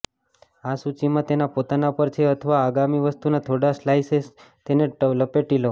આ સૂચિમાં તેના પોતાના પર છે અથવા આગામી વસ્તુના થોડા સ્લાઇસેસમાં તેને લપેટી લો